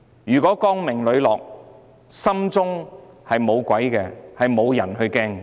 如果她光明磊落，心中無鬼，便不需要害怕。